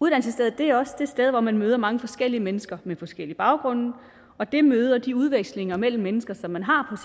uddannelsesstedet er også det sted hvor man møder mange forskellige mennesker med forskellige baggrunde og det møde og de udvekslinger mellem mennesker som man har